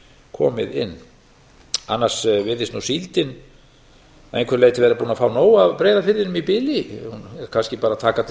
komið inn annars virðist nú síldin að einhverju leyti vera búin að fá nóg af breiðafirðinum í bili hún er kannski bara að taka til